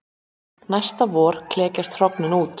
næsta vor klekjast hrognin út